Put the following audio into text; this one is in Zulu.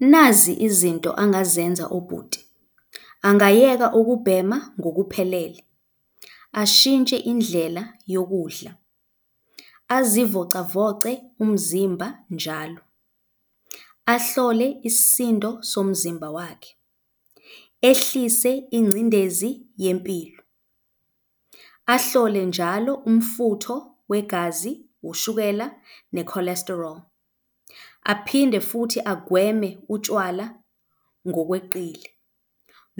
Nazi izinto angazenza ubhuti, angayeka ukubhema ngokuphelele, ashintshe indlela yokudla, azivocavoce umzimba njalo, ahlole isisindo somzimba wakhe, ehlise ingcindezi yempilo, ahlole njalo umfutho wegazi, ushukela ne-cholesterol, aphinde futhi agweme utshwala ngokweqile.